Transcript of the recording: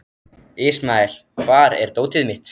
Ismael, hvar er dótið mitt?